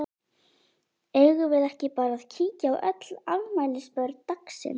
Eigum við ekki bara að kíkja á öll afmælisbörn dagsins?